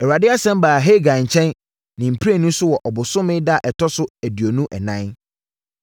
Awurade asɛm baa Hagai nkyɛn ne mprenu so wɔ ɔbosome no da a ɛtɔ aduonu ɛnan: